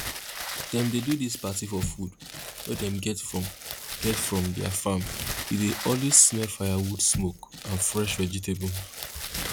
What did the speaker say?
dem dey do dis party for food wey dem get from get from their farm e dey always smell firewood smoke and fresh vegetable